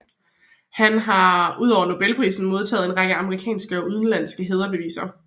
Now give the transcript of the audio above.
Han har udover Nobelprisen modtaget en række amerikanske og udenlandske hædersbevisninger